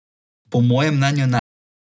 Po mojem mnenju ne.